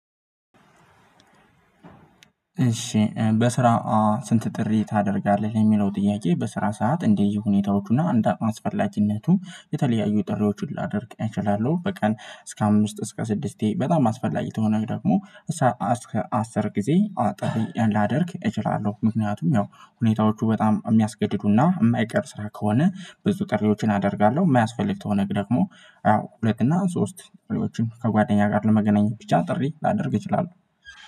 እሺ በስራ ስንት ጥሪ ታደርጋለህ የሚለው ጥያቄ? በስራ ሰዓት እንደየሁኔታዎቹና አንድ አቅም አስፈላጅነቱ የተለያዩ ጥሪዎችን ላደርግ እችላለሁ። በቀን እስከ አምስት እስከ ስድስቴ በጣም አስፈላጊ ተሆነህ ደግሞ እስከ አስር ጊዜ አጠብቅ ላደርግ እችላለሁ። ምክንያቱም ያው ሁኔታዎቹ በጣም የሚያስገድዱና የማይቀር ስራ ከሆነ ብዙ ቀሪዎችን አደርጋለሁ። የማያስፈልግ ተወነግሮ ደግሞ ሁለት እና ሶስት ከጓደኛ ጋር ለመገናኘት ብቻ ጥሪ ላደርግ እችላለሁ።